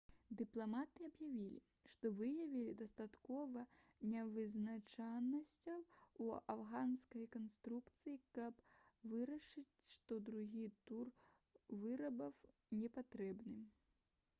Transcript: дыпламаты аб'явілі што выявілі дастаткова нявызначанасцяў у афганскай канстытуцыі каб вырашыць што другі тур выбараў непатрэбны